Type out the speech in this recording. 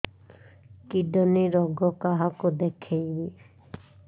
kidney ରୋଗ କାହାକୁ ଦେଖେଇବି